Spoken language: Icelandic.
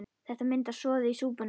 Þetta myndar soðið í súpuna.